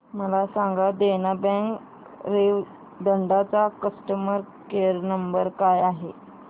मला सांगा देना बँक रेवदंडा चा कस्टमर केअर क्रमांक काय आहे